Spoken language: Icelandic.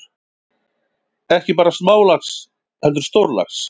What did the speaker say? Ekki bara smálax heldur stórlax.